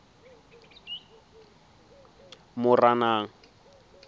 moranang